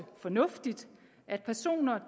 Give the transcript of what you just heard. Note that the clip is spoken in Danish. fornuftigt at personer